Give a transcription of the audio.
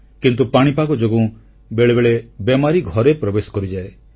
କିନ୍ତୁ ପାଣିପାଗ ଯୋଗୁଁ ବେଳେବେଳେ ବେମାରି ଘରେ ପ୍ରବେଶ କରିଯାଏ